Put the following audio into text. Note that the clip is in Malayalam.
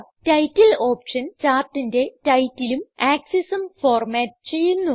ടൈറ്റിൽ ഓപ്ഷൻ ചാർട്ടിന്റെ titleഉം axesഉം ഫോർമാറ്റ് ചെയ്യുന്നു